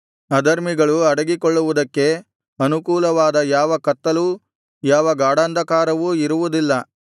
ಅಧರ್ಮಿಗಳು ಅಡಗಿಕೊಳ್ಳುವುದಕ್ಕೆ ಅನುಕೂಲವಾದ ಯಾವ ಕತ್ತಲೂ ಯಾವ ಗಾಢಾಂಧಕಾರವೂ ಇರುವುದಿಲ್ಲ